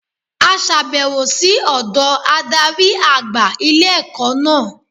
A sàbẹ̀wò sí ọ̀dọ̀ adarí àgbà ilé-ẹ̀kọ́ náà